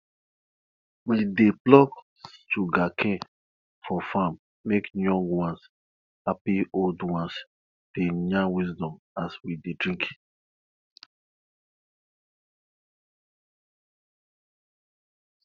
we dey pluck sugarcane for farm make young ones happy old ones dey yarn wisdom as we dey drink